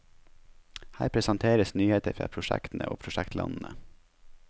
Her presenteres nyheter fra prosjektene og prosjektlandene.